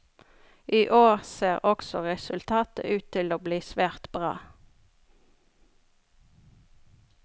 I år ser også resultatet ut til å bli svært bra.